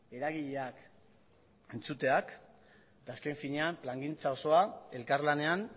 eragileak entzuteak eta azken finean plangintza osoa elkarlanean